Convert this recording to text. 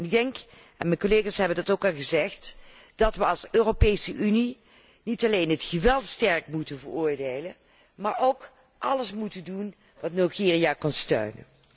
Ik denk en mijn collega's hebben dat ook al gezegd dat wij als Europese Unie niet alleen het geweld krachtig moeten veroordelen, maar ook alles moeten doen wat Nigeria kan steunen.